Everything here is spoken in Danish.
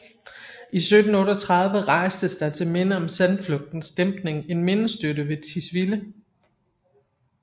I 1738 rejstes der til minde om sandflugtens dæmpning en mindestøtte ved Tisvilde